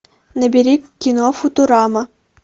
набери кино футурама